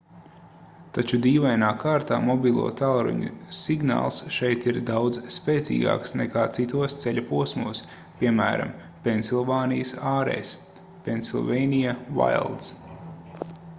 taču dīvainā kārtā mobilo tālruņu signāls šeit ir daudz spēcīgāks nekā citos ceļa posmos piemēram pensilvānijas ārēs pennsylvania wilds